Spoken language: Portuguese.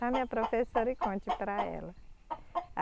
Chame a professora e conte para ela.